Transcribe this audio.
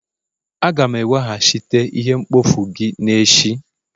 Aga'm eweghachite ihe mkpofu gị n'echi